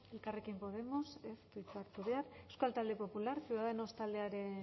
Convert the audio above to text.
elkarrekin podemos ez du hitza hartu behar euskal talde popular ciudadanos taldearen